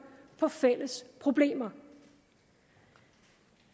på fælles problemer